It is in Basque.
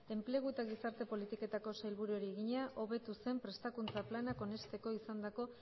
enplegu eta gizarte politiketako sailburuari egina hobetuzen prestakuntza planak onesteko izandako